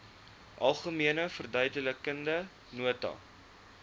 algemene verduidelikende nota